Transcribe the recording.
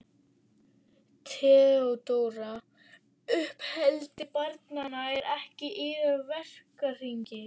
THEODÓRA: Uppeldi barnanna er ekki í yðar verkahring.